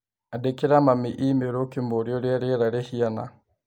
Andĩkĩra mami i-mīrū ũkĩmũũria ũrĩa rĩera rĩhiana